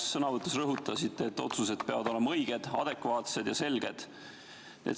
Oma sõnavõtus rõhutasite, et otsused peavad olema õiged, adekvaatsed ja selged.